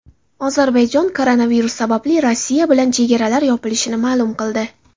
Ozarbayjon koronavirus sababli Rossiya bilan chegaralar yopilishini ma’lum qildi.